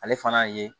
Ale fana ye